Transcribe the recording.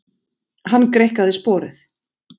Hann greikkaði sporið.